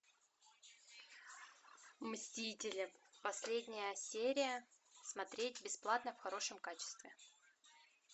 мстители последняя серия смотреть бесплатно в хорошем качестве